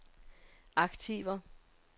aktiver